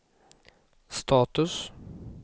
status